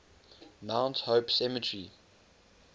mount hope cemetery